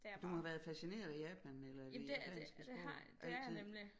Du har været fascineret af Japan eller det japanske sprog altid